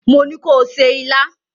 Mo ní ko se ilá!